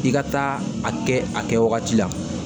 I ka taa a kɛ a kɛ wagati la